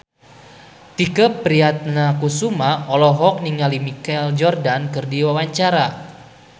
Tike Priatnakusuma olohok ningali Michael Jordan keur diwawancara